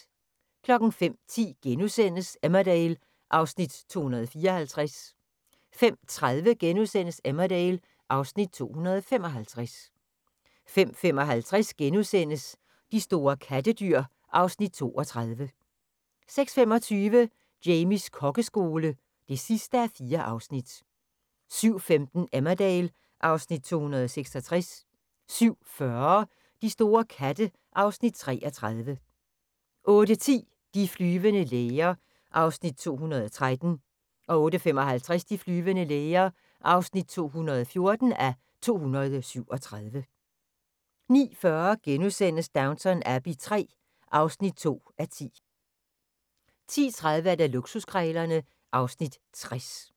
05:10: Emmerdale (Afs. 254)* 05:30: Emmerdale (Afs. 255)* 05:55: De store kattedyr (Afs. 32)* 06:25: Jamies kokkeskole (4:4) 07:15: Emmerdale (Afs. 266) 07:40: De store katte (Afs. 33) 08:10: De flyvende læger (213:237) 08:55: De flyvende læger (214:237) 09:40: Downton Abbey III (2:10)* 10:30: Luksuskrejlerne (Afs. 60)